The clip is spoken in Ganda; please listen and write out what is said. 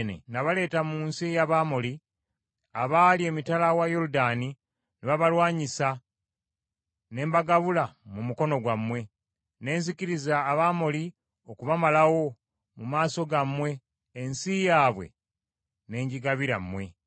“ ‘Nabaleeta mu nsi ey’Abamoli, abaali emitala wa Yoludaani, ne babalwanyisa, ne mbagabula mu mukono gwammwe. Ne nzikiriza Abamoli okubamalawo mu maaso gammwe ensi yaabwe ne ngigabira mmwe.